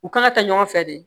U kan ka taa ɲɔgɔn fɛ de